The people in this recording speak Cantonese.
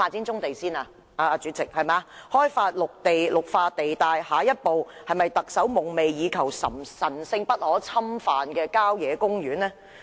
在開發綠化地帶後，下一個目標是否特首夢寐以求、神聖不可侵犯的郊野公園呢？